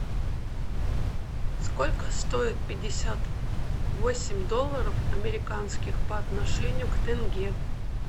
сколько стоит пятьдесят восемь долларов американских по отношению к тенге